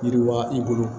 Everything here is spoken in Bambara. Yiriwa i bolo